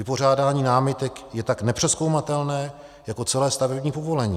Vypořádání námitek je tak nepřezkoumatelné jako celé stavební povolení.